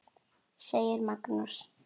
segir Magnús.